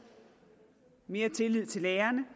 mere tillid til lærerne